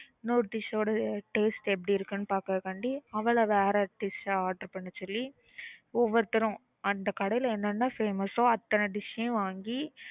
இன்னொருத்தி சொல்லுற taste எப்பிடி இருக்குனு பாக்குறதுக்காக அவளை வேற dish order பண்ண சொல்லி ஒவ்வொருத்தரும் அந்த கடையில என்ன என்ன famous ஓஹ் அத்தனை dish வாங்கி